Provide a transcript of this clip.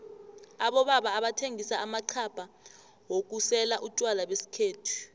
abobaba abathengisa amaxhabha wokusela utjwala besikhethu